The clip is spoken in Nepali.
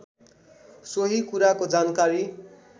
सोही कुराको जानकारी